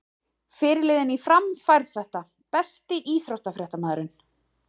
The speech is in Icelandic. Fyrirliðinn í Fram fær þetta Besti íþróttafréttamaðurinn?